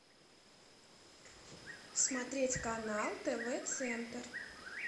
смотреть канал тв центр